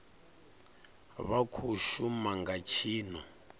vha khou shuma nga tshino